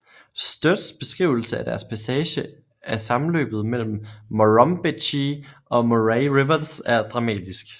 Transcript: Sturts beskrivelse af deres passage af sammenløbet mellem Murrumbidgee og Murray Rivers er dramatisk